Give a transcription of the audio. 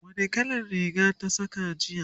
wani kalan Riga ta Saka jiya?